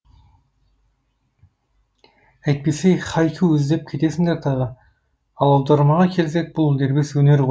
әйтпесе хайку іздеп кетесіңдер тағы ал аудармаға келсек бұл дербес өнер ғой